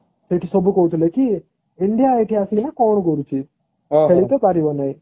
ସେଇଠି ସବୁ କହିଥିଲେ କି india ଏଠି ଆସି କିନା କଣ କରୁଛି ଖେଳିତ ପାରିବ ନାହିଁ